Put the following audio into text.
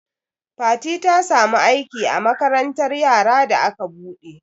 Fati ta samu aiki a makarantar yara da aka buɗe.